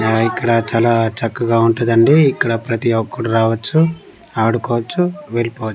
ఆ ఇక్కడ చాలా చక్కగా ఉంటదండి ఇక్కడ ప్రతి ఒక్కడు రావచ్చు ఆడుకోవచ్చు వెళ్ళిపోవచ్చు.